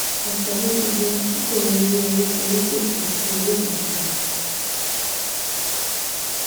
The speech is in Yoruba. ọ̀pọ̀ ló ti di ẹni tí kò lè rí owó torí pé kò sí owó kankan